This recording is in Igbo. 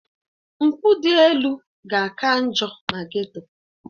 Mpụ dị elu ga-aka njọ na Geto